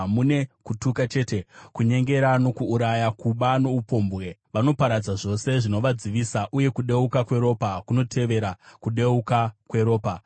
Mune kutuka chete, kunyengera nokuuraya, kuba noupombwe; vanoparadza zvose zvinovadzivisa, uye kudeuka kweropa kunotevera kudeuka kweropa.